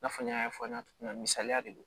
I n'a fɔ n y'a fɔ n ye cogo min na misaliya de don